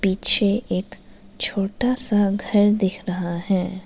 पीछे एक छोटा सा घर दिख रहा है।